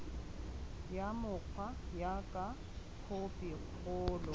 ya mokgwa jaaka khophi kgolo